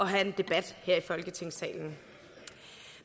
have en debat her i folketingssalen